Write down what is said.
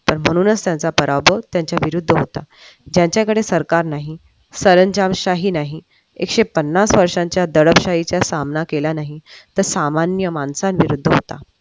तर म्हणूनच त्यांचा पराभव त्यांच्या विरोधात होता ज्यांच्याकडे सरकार नाही सरंजामही नाही एकशे पन्नास. वर्षाच्या दडपशाहीचा सामना केला नाही तर सामान्य माणूस निरुद्ध असतात.